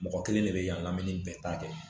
Mɔgɔ kelen de bɛ yan lamɛn ni bɛɛ ta kɛ